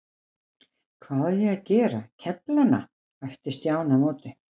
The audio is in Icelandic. Hvað á ég að gera, kefla hana? æpti Stjáni á móti.